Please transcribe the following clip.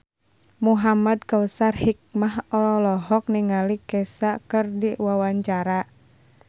Muhamad Kautsar Hikmat olohok ningali Kesha keur diwawancara